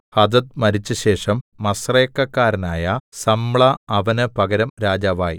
Hadad മരിച്ചശേഷം മസ്രേക്കക്കാരനായ Samlah അവന് പകരം രാജാവായി